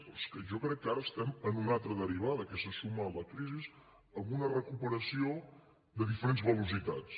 però és que jo crec que ara estem en una altra derivada que se suma a la crisi amb una recuperació a diferents velocitats